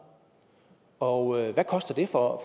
og hvad koster det for